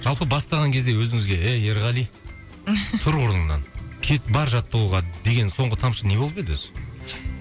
жалпы бастаған кезде өзіңізге ей ерғали тұр орныңнан кет бар жаттығуға деген соңғы тамшы не болып еді өзі